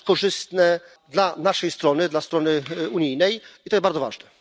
To jest korzystne dla naszej strony, dla strony unijnej. I to jest bardzo ważne.